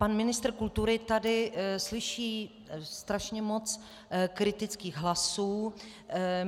Pan ministr kultury tady slyší strašně moc kritických hlasů.